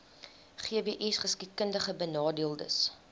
gbsgeskiedkundigbenadeeldes